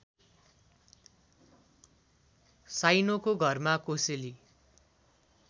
साइनोको घरमा कोसेली